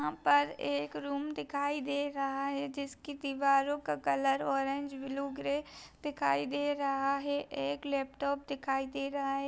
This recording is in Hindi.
यहाँ पर एक रूम दिखाई दे रहा है जिसकी दीवारों का कलर ऑरेंज ब्लू ग्रे दिखाई दे रहा है। एक लैपटॉप दिखाई दे रहा है।